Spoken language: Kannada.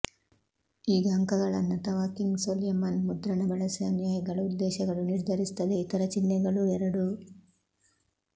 ಈಗ ಅಂಕಗಳನ್ನು ಅಥವಾ ಕಿಂಗ್ ಸೊಲೊಮನ್ ಮುದ್ರಣ ಬಳಸಿ ಅನುಯಾಯಿಗಳು ಉದ್ದೇಶಗಳು ನಿರ್ಧರಿಸುತ್ತದೆ ಇತರ ಚಿಹ್ನೆಗಳು ಎರಡೂ